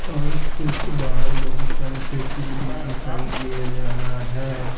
और स्कूल के बाहर बहुत सारे साइकिल भी दिखाई दे रहा है।